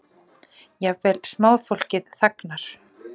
Jafnvel smáfólkið þagnar.